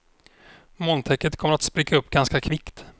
Molntäcket kommer att spricka upp ganska kvickt.